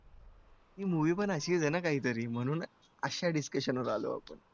ते movie पण अशीच आहे ना काहीतरी म्हणून अशा discussion वर आलोय आपण.